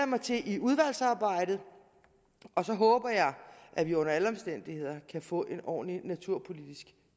mig til udvalgsarbejdet og så håber jeg at vi under alle omstændigheder kan få en ordentlig naturpolitisk